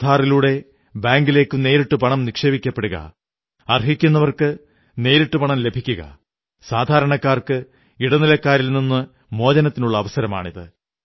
ആധാർ ലൂടെ ബാങ്കിലേക്ക് നേരിട്ട് പണം നിക്ഷേപിക്കപ്പെടുക അർഹിക്കുന്നവർക്ക് നേരിട്ടു പണം ലഭിക്കുക സാധാരണക്കാർക്ക് ഇടനിലക്കാരിൽ നിന്നു മോചനത്തിനുള്ള അവസരമാണിത്